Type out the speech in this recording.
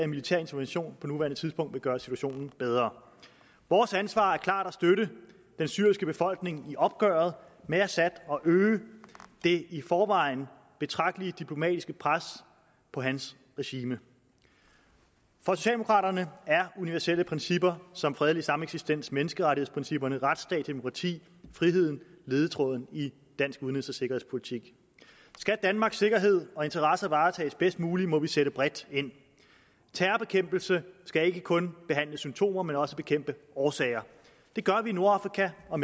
militær intervention på nuværende tidspunkt vil gøre situationen bedre vores ansvar er klart at støtte den syriske befolkning i opgøret med assad og øge det i forvejen betragtelige diplomatiske pres på hans regime for socialdemokraterne er universelle principper som fredelig sameksistens menneskerettighedsprincipper retsstat demokrati og frihed ledetråden i dansk udenrigs og sikkerhedspolitik skal danmarks sikkerhed og interesser varetages bedst muligt må vi sætte bredt ind terrorbekæmpelse skal ikke kun behandle symptomer men også bekæmpe årsager det gør vi i nordafrika og